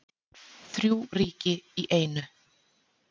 Þrjú ríki í einu